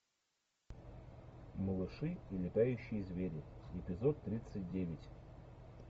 малыши и летающие звери эпизод тридцать девять